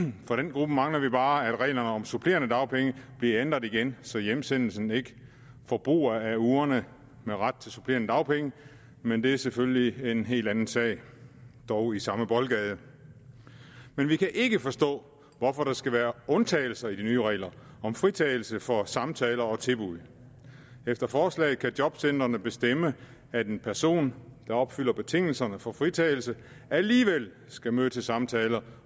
gruppe mangler vi bare at reglerne om supplerende dagpenge bliver ændret igen så hjemsendelsen ikke forbruger af ugerne med ret til supplerende dagpenge men det er selvfølgelig en helt anden sag dog i samme boldgade men vi kan ikke forstå hvorfor der skal være undtagelser i de nye regler om fritagelse for samtaler og tilbud efter forslaget kan jobcentrene bestemme at en person der opfylder betingelserne for fritagelse alligevel skal møde til samtaler